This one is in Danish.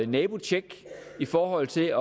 nabotjek i forhold til at